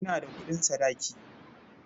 Ina da kuɗin sadaki.